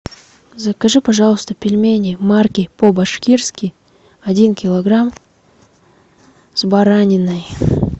закажи пожалуйста пельмени марки по башкирски один килограмм с бараниной